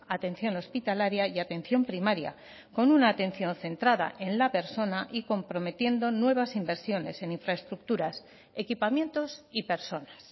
atención hospitalaria y atención primaria con una atención centrada en la persona y comprometiendo nuevas inversiones en infraestructuras equipamientos y personas